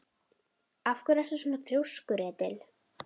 Af hverju ertu svona þrjóskur, Edil?